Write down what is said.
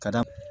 Ka da